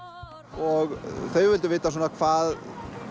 og þau vildu vita hvað